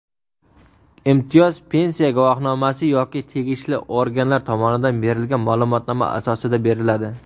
Imtiyoz pensiya guvohnomasi yoki tegishli organlar tomonidan berilgan maʼlumotnoma asosida beriladi;.